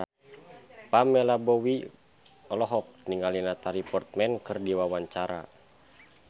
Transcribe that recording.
Pamela Bowie olohok ningali Natalie Portman keur diwawancara